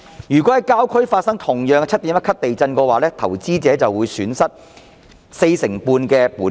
如果在郊區發生 7.1 級地震，投資者便會損失四成半本金。